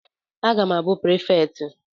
Aga m abụ prefekti